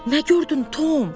Nə gördün, Tom?